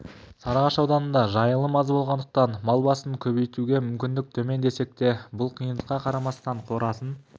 сарыағаш ауданында жайылым аз болғандықтан мал басын көбейтуге мүмкіндік төмен десек те бұл қиындыққа қарамастан қорасын